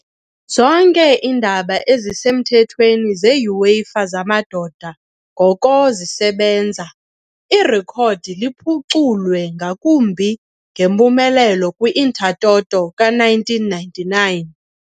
zonke iindebe ezisemthethweni ze-UEFA zamadoda ngoko zisebenza, irekhodi liphuculwe ngakumbi ngempumelelo kwi- Intertoto ka-1999 .